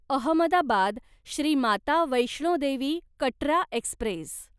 Ahmedabad Shri Mata Vaishno Devi Katra Express